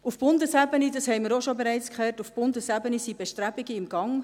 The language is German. Auf Bundesebene, das haben wir auch bereits gehört, sind Bestrebungen in Gang.